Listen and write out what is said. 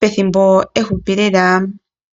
pethimbo efupi lela.